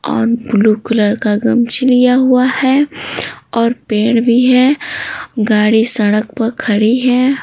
और blue colour का गमछी लिया हुआ है और पेड़ भी है गाड़ी सड़क पर खड़ी है।